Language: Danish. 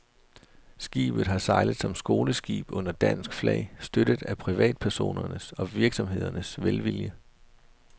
Skibet har sejlet som skoleskib under dansk flag, støttet af privatpersoners og virksomheders velvilje.